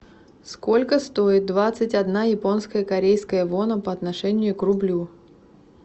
сколько стоит двадцать одна японская корейская вона по отношению к рублю